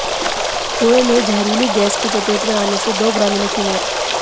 कुएं में जहरीली गैस की चपेट में आने से दो ग्रामीणों की मौत